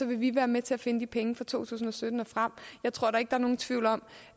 vil vi være med til at finde de penge fra to tusind og sytten og frem jeg tror da ikke der er nogen tvivl om